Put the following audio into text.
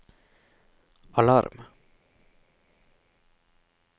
alarm